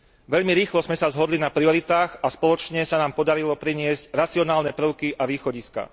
Veľmi rýchlo sme sa zhodli na prioritách a spoločne sa nám podarilo priniesť racionálne prvky a východiská.